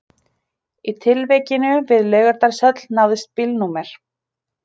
Í tilvikinu við Laugardalshöll náðist bílnúmer